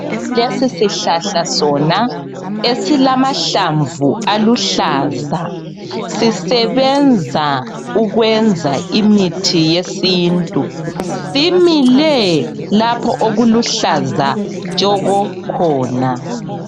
Lesi sihlahla sona esilamahlamvu aluhlaza, sisebenza ukwenza imithi yesintu. Simile lapho okuluhlaza tshoko khona.